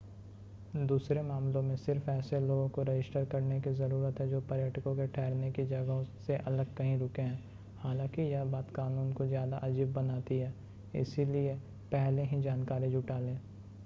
दूसरे मामलों में सिर्फ़ ऐसे लोगों को रजिस्टर करने की ज़रुरत है जो पर्यटकों के ठहरने की जगहों से अलग कहीं रुके हैं हालांकि यह बात कानून को ज़्यादा अजीब बनाती है इसलिए पहले ही जानकारी जुटा लें